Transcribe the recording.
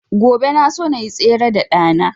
Gobe na so nayi tsere da ɗa na